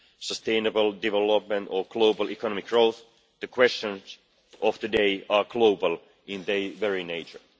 sustainable development or global economic growth, the questions of today are global in their very nature.